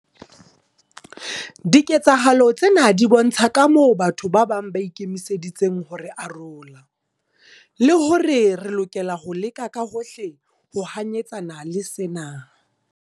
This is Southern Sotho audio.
Diketsahalo tsena di bontsha kamoo batho ba bang ba ikemiseditseng ho re arola, le hore re lokela ho leka ka hohle ho hanyetsana le sena.